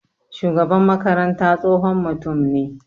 Shugaban makaranta tsohon mutum ne.